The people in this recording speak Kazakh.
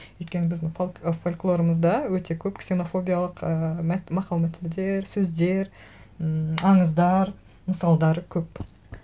өйткені біздің фольклорымызда өте көп ксенофобиялық ыыы мақал мәтелдер сөздер ммм аңыздар мысалдары көп